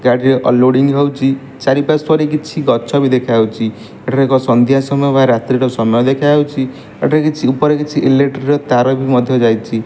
ଗାଡିରେ ଅଲଲୋଡିଂ ହୋଉଚି ଚାରିପାର୍ଶ୍ବରେ କିଛି ଗଛ ବି ଦେଖାଯାଉଚି ଏଠାରେ ଏକ ସଦ୍ୟା ସମୟ ବା ରାତ୍ରିର ସମୟ ଦେଖାଯାଉଚି ଏଠାରେ କିଛି ଉପରେ କିଛି ଇଲେକ୍ଟ୍ରିକ ର ତାର ବି ମଧ୍ୟ ଯାଇଚି ।